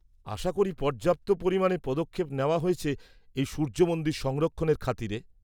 -আশা করি পর্যাপ্ত পরিমাণে পদক্ষেপ নেওয়া হয়েছে এই সূর্য মন্দির সংরক্ষণের খাতিরে।